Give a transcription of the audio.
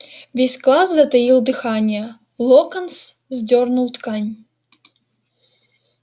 весь класс затаил дыхание локонс сдёрнул ткань